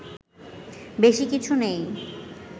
বেশি কিছু নেই